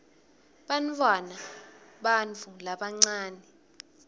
bantfwana bantu labancane